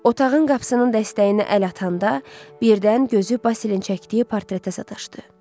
Otağın qapısının dəstəyinə əl atanda, birdən gözü Basilin çəkdiyi portretə sataşdı.